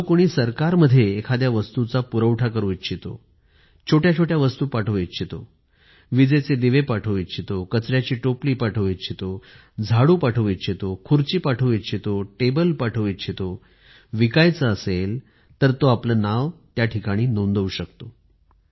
जो सरकारला माल पुरवठा करू इच्छितो झाडू विक्री करू इच्छितो खुर्ची विकू इच्छितो टेबल पाठवू इच्छितो तो आपले नाव त्यावर नोंदणी करू शकतो